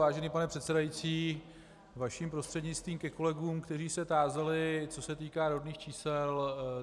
Vážený pane předsedající, vašim prostřednictvím ke kolegům, kteří se tázali, co se týká rodných čísel.